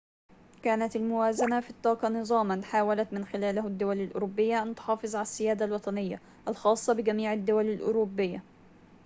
كانت الموازنة في الطاقة نظاماً حاولت من خلاله الدول الأوروبية أن تُحافظ على السيادة الوطنية الخاصة بجميع الدول الأوروبية